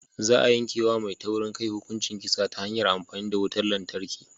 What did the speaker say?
Za a yanke wa mai taurin kai hukuncin kisa ta hanyar amfani da wutar lantarki.